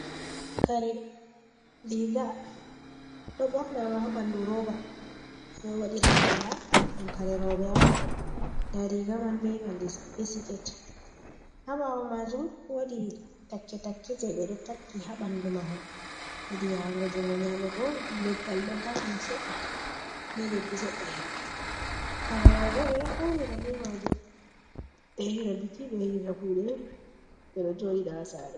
Kare, Riga ɗo bornama ha bandu roba, ɓeɗo waɗiratalla ɗon karerobe'on dariga man ɓe sikete habawo maju wadi take-take ɓeɗo takki habandu mahol, hidiyahango jungo nyamugobo leggal do mauni sedda be leddi sedɗa herme. Kare robe be ɗo faunira be majum ɓe yahira biki, ɓe yahira kude, bedo joɗida ha sare.